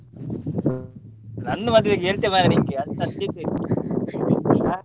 ನಂದು ಮದ್ವೆಗೆ ಎಂತ ಮಾರ್ರೆ ನಿನ್ಗೆ ಅಷ್ಟು urgent ಏನು?